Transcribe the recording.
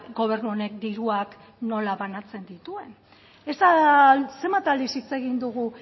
gobernu honek diruak nola banatzen dituen esan zenbat aldiz hitz egin dugu